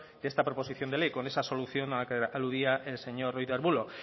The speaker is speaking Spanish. de esta proposición de ley con esa solución que aludía el señor ruiz de arbulo